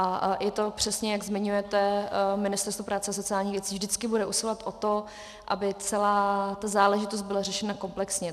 A je to přesně, jak zmiňujete, Ministerstvo práce a sociálních věcí vždycky bude usilovat o to, aby celá ta záležitost byla řešena komplexně.